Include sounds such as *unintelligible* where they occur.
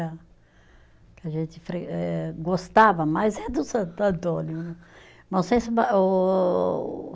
*unintelligible* que a gente fre eh, gostava mais é do Santo Antônio né *unintelligible*